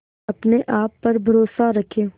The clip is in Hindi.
अपने आप पर भरोसा रखें